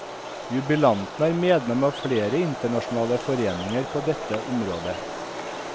Jubilanten er medlem av flere internasjonale foreninger på dette området.